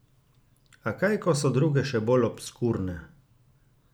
A kaj, ko so druge še bolj obskurne!